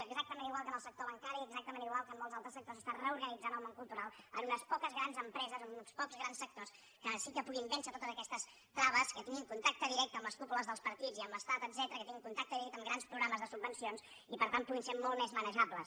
exactament igual que en el sector bancari exactament igual que en molts altres sectors s’està reorganitzant el món cultural en unes poques grans empreses en uns pocs grans sectors que sí que puguin vèncer totes aquestes traves que tinguin contacte directe amb les cúpules dels partits i amb l’estat etcètera que tinguin contacte directe amb grans programes de subvencions i per tant que puguin ser molt més manejables